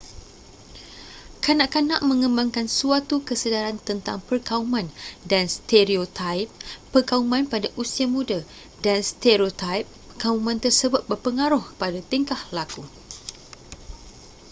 kanak-kanak mengembangkan suatu kesedaran tentang perkauman dan stereotaip perkauman pada usia muda dan stereotaip perkauman tersebut berpengaruh pada tingkah laku